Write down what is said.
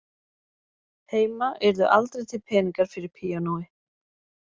Heima yrðu aldrei til peningar fyrir píanói